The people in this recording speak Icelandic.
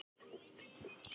Draga þurfti bílinn í burtu.